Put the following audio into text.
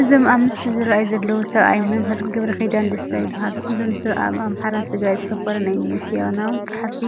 እዞም ኣብ ምስሊ ዝርአዩ ዘለዉ ሰብኣይ መምህር ገብረኺዳ ደስታ ይበሃሉ፡፡ እዞም ሰብ ኣብ ኣምሓራን ትግራይን ዘተኮረ ናይ ሚስዮናውያን ፀሓፍቲ